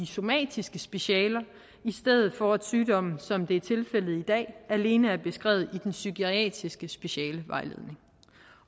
somatiske specialer i stedet for at sygdommen som det er tilfældet i dag alene er beskrevet i den psykiatriske specialevejledning